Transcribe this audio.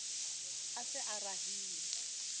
a se a e rahile